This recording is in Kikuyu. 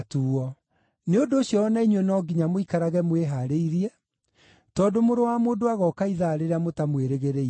Nĩ ũndũ ũcio o na inyuĩ no nginya mũikarage mwĩhaarĩirie, tondũ Mũrũ wa Mũndũ agooka ithaa rĩrĩa mũtamwĩrĩgĩrĩire.